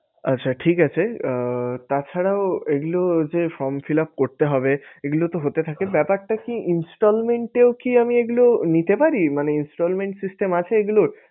আচ্ছা ঠিক আছে আহ তাছাড়াও এগুলো যে form fill up করতে হবে। এগুলো তো হতে থাকে ব্যাপারটা কি Installment এও কি আমি এগুলো নিতে পারি মানে Installment system আছে এগুলোর?